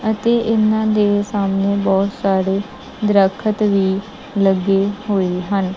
ਅਤੇ ਇਹਨਾਂ ਦੇ ਸਾਹਮਣੇ ਬਹੁਤ ਸਾਰੇ ਦਰਖਤ ਵੀ ਲੱਗੇ ਹੋਏ ਹਨ।